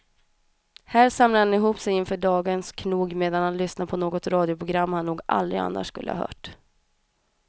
Här samlar han ihop sig inför dagens knog medan han lyssnar på något radioprogram han nog aldrig annars skulle ha hört.